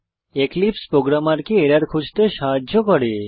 এক্লিপসে প্রোগ্রামারকে এরর খুঁজতে সাহায্য করে